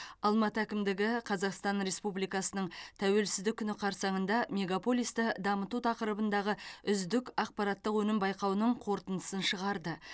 алматы әкімдігі қазақстан республикасының тәуелсіздік күні қарсаңында мегаполисті дамыту тақырыбындағы үздік ақпараттық өнім байқауының қорытындысын шығарды